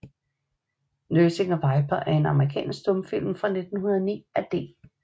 Nursing a Viper er en amerikansk stumfilm fra 1909 af D